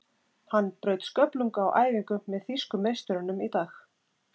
Hann braut sköflung á æfingu með þýsku meisturunum í dag.